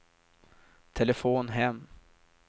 telefon hem